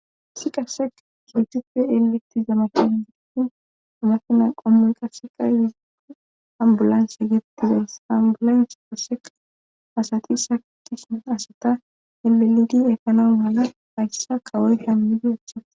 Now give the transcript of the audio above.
Issi qase keguppe eleti zamaqen giditin umafina qommoy qaseqay yizio ambulanse gettida sambulans paseqa asati satishia asata elelidi ekanon mala hayssa kawoy kammidi achchas.